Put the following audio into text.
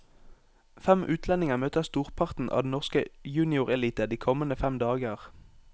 Fem utlendinger møter storparten av den norske juniorelite de kommende fem dager.